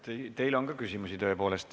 Teile on tõepoolest ka küsimusi.